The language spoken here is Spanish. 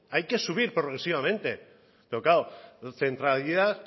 hay que subir progresivamente pero claro centralidad